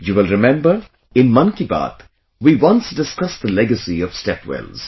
You will remember, in 'Mann Ki Baat' we once discussed the legacy of step wells